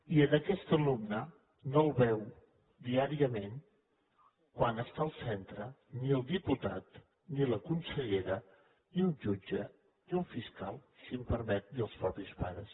i en aquest alumne no el veu diàriament quan és al centre ni el diputat ni la consellera ni un jutge ni un fiscal si m’ho permet ni els mateixos pares